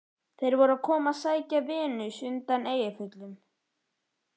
Þeir voru að koma að sækja Venus undan Eyjafjöllum.